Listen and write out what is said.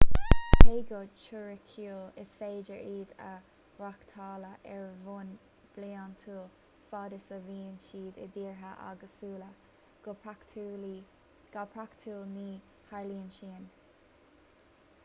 cé go teoiriciúil is féidir iad a reáchtáladh ar bhonn bliantúil fad is a bhíonn siad i dtíortha éagsúla go praiticiúil ní tharlaíonn sin